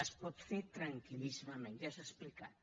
es pot fer tranquil·líssimament ja s’ha explicat